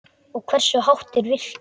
Og hversu hátt er virkið?